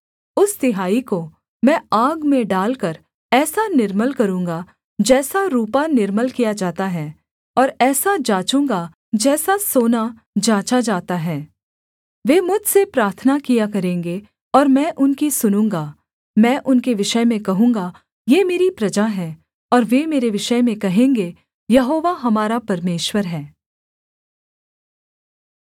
उस तिहाई को मैं आग में डालकर ऐसा निर्मल करूँगा जैसा रूपा निर्मल किया जाता है और ऐसा जाँचूँगा जैसा सोना जाँचा जाता है वे मुझसे प्रार्थना किया करेंगे और मैं उनकी सुनूँगा मैं उनके विषय में कहूँगा ये मेरी प्रजा हैं और वे मेरे विषय में कहेंगे यहोवा हमारा परमेश्वर है